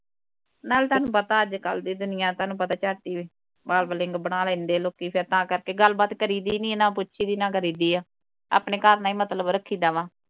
ਨਾਲੇ ਤੁਹਾਨੂੰ ਪਤਾ ਅੱਜ ਕੱਲ ਦੀ ਦੁਨੀਆ ਤੁਹਾਨੂੰ ਪਤਾ ਹੀ ਝੱਟ ਹੀ babbling ਬਣਾ ਲੈਂਦੇ ਲੋਕੀ ਫੇਰ ਤਾਂ ਕਰਕੇ ਗੱਲਬਾਤ ਕਰੀ ਦੀ ਹੀ ਨਹੀ, ਨਾ ਪੁੱਛੀਦੀ, ਨਾ ਕਰੀਦੀ ਹੈ । ਆਪਣੇ ਘਰ ਨਾਲ ਹੀ ਮਤਲਬ ਰੱਖੀ ਦਾ ਵਾ।